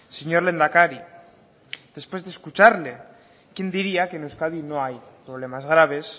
señor lehendakari después de escucharle quién diría que en euskadi no hay problemas graves